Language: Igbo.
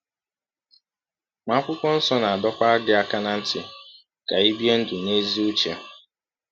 Ma Akwụkwọ Nsọ na-adọkwa gị aka ná ntị ka i bie ndụ n’ezi uche.